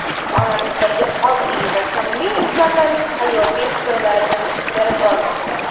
oramizdagi oddiy va samimiy insonlarning hayotiy hikoyalarini berib bormoqda.